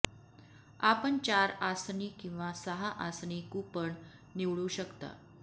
आपण चार आसनी किंवा सहा आसनी कुपन निवडू शकता